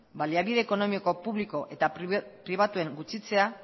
baliabide ekonomiko publiko eta pribatuen gutxitzea